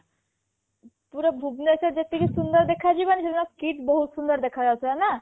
ପୁରା ଭୁବନେଶ୍ବର ଯେତିକି ସୁନ୍ଦର ଦେଖା ଯିବନି ସେ ଦିନ KIIT ବହୁତ ସୁନ୍ଦର ଦେଖା ଯାଉଥିଲା ନା